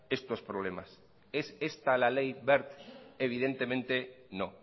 estos problemas es esta la ley wert evidentemente no